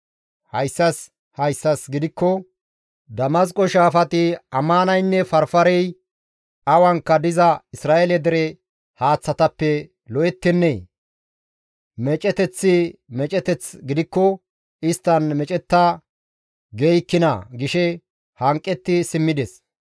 Hayssas hayssas gidikko Damasqo shaafati Amaanaynne Farfarey awankka diza Isra7eele dere haaththatappe lo7ettennee? Meeceteththi meeceteth gidikko isttan meecetta geeykkinaa?» gishe hanqetti simmides.